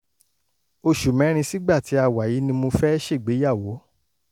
oṣù mẹ́rin sígbà tí a wà yìí ni mo fẹ́ ṣègbéyàwó